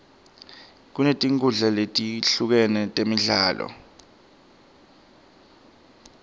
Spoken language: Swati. kunetinkhundla letehlukene temidlalo